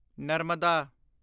Narmada